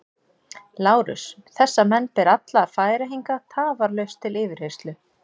LÁRUS: Þessa menn ber alla að færa hingað tafarlaust til yfirheyrslu.